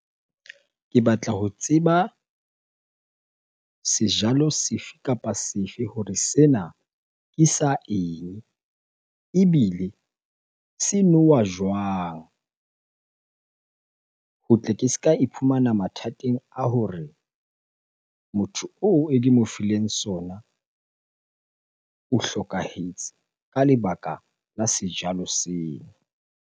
Ke batla ho tseba sejalo sefe kapa sefe hore sena ke sa eng? Ebile se nowa jwang? Ho tle ke ska iphumana mathateng a hore motho oo e ke mo fileng sona o hlokahetse ka lebaka la sejalo seo.